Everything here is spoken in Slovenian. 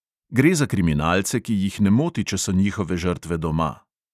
Gre za kriminalce, ki jih ne moti, če so njihove žrtve doma.